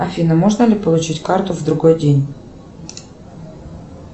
афина можно ли получить карту в другой день